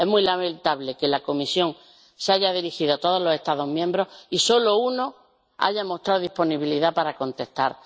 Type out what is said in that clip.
Es muy lamentable que la Comisión se haya dirigido a todos los Estados miembros y solo uno haya mostrado disponibilidad para contestar.